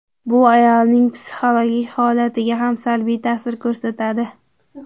Bu ayolning psixologik holatiga ham salbiy ta’sir ko‘rsatadi.